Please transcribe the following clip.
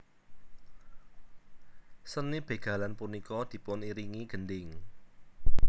Seni bégalan punika dipuniringi gendhing